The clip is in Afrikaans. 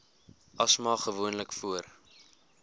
asma gewoonlik voor